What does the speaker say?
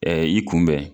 i kunbɛn